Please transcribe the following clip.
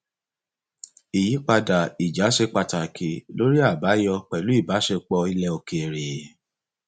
ìyípadà ìjà ṣe pàtàkì lórí àbáyọ pẹlú ìbáṣepọ ilẹ òkèèrè